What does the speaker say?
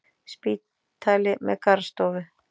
Spítali með garðstofu!